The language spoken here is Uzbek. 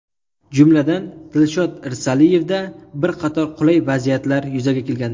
Jumladan, Dilshod Irsaliyevda bir qator qulay vaziyatlar yuzaga kelgandi.